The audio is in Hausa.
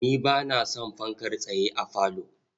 Ni ba na son fankar tsaye a falo.